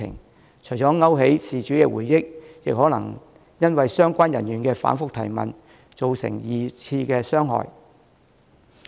這樣除了會勾起事主的回憶，亦有可能因為相關人員的反覆提問，對事主造成二次傷害。